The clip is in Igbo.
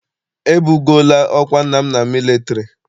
E bugoola ọkwa nna m na mịlịtarị..